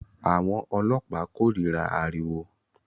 Àwọn ọlọ́pàá kórìíra ariwo